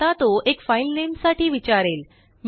आता तोएक फाइल नेमसाठी विचारेल